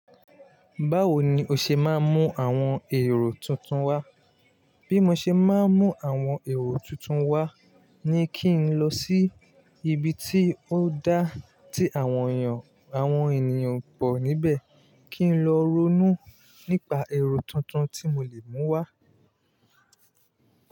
Báwo ni o ṣe máa ń mú àwọn èrò tuntun wá? Bí mo ṣe máa ń mú àwọn èrò tuntun wá ni kí n lọ sí ibi tí ó dáà tí àwọn ènìyàn pọ̀ níbẹ̀ kí n lọ ronú nípa èrò tuntun tí mo lè mú wá.